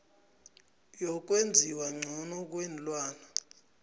yokwenziwa ngcono kweenlwana